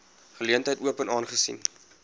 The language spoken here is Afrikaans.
geleentheid open aangesien